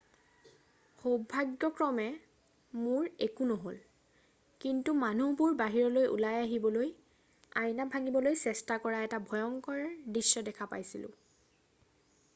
"""সৌভাগ্যক্ৰমে মোৰ একো নহ'ল কিন্তু মানুহবোৰ বাহিৰলৈ ওলাই আহিবলৈ আইনা ভাঙিবলৈ চেষ্টা কৰা এটা ভয়ংকৰ দৃশ্য দেখা পাইছিলোঁ।""